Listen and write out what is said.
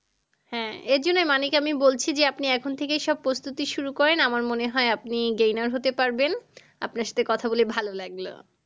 হ্যাঁ এর জন্যেই মানিক আমি বলছি যে আপনি এখন থেকেই সব প্রস্তুতি শুরু করেন আমার মনে হয় আপনি gainner হতে পারবেন। আপনার সাথে কথা বলে ভালো লাগলো।